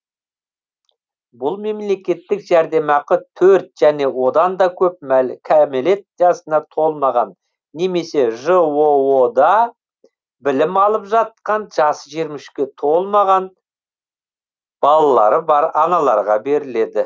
бұл мемлекеттік жәрдемақы төрт және одан да көп кәмелет жасына толмаған немесе жоо да білім алып жатқан жасы жиырма үшке толмаған балалары бар аналарға беріледі